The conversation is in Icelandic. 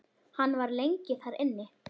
Hann var lengi þar inni.